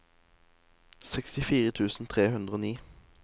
sekstifire tusen tre hundre og ni